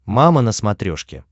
мама на смотрешке